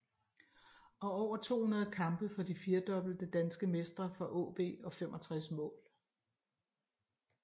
Og over 200 kampe for de 4 dobbelte danske mestre fra AaB og 65 mål